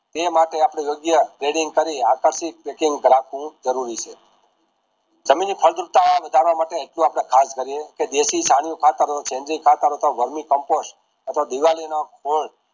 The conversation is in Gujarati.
તે માટે આપડે યોગ્ય trading કરી હાથે થીજ packing કરતુ જરૂરી છે જમીનની વધારતા માટે એટલું આપડે ખાસ કરીએ જેથી ખાતર અથવા વાર્મ compost અથવા દિવાળી નો ખોલ